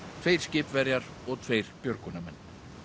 tveir skipverjar og tveir björgunarmenn